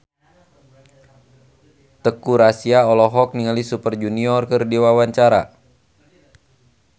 Teuku Rassya olohok ningali Super Junior keur diwawancara